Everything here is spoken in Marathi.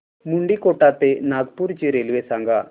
मुंडीकोटा ते नागपूर ची रेल्वे सांगा